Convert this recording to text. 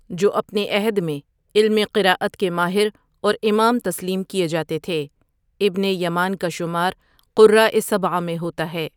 جو اپنے عہد میں علم قرأت کے ماہر اورامام تسلیم کئے جاتے تھے، ابن یمان کا شمار قراء سبعہ میں ہوتا ہے۔